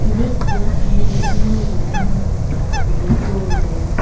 ebey ekko midisinu rum moneh gorongor hubi dol guri.